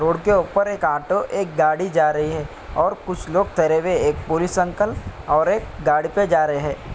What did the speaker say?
road के ऊपर एक ऑटो एक गाड़ी जा रही है और कुछ लोग तेरे हुए एक पुलिस अंकल और एक गाड़ी पे जा रेह है|